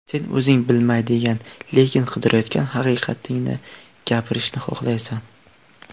Sen o‘zing bilmaydigan, lekin qidirayotgan haqiqatingni gapirishni xohlaysan.